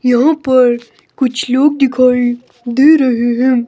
यहां पर कुछ लोग दिखाई दे रहे हैं।